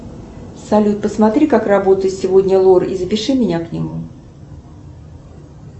салют посмотри как работает сегодня лор и запиши меня к нему